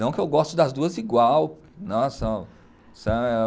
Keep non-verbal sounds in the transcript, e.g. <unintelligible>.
Não que eu goste das duas igual. <unintelligible>